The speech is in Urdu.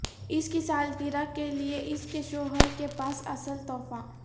اس کی سالگرہ کے لئے اس کے شوہر کے پاس اصل تحفہ